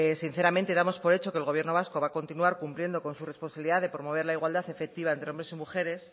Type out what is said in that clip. sinceramente damos por hecho que el gobierno vasco va a continuar cumpliendo con su responsabilidad de promover la igualdad efectiva entre hombres y mujeres